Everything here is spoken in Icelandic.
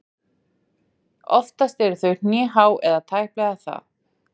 Oftast eru þau hnéhá eða tæplega það.